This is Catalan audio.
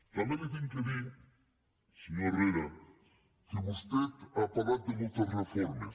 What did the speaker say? també li haig de dir senyor herrera que vostè ha parlat de moltes reformes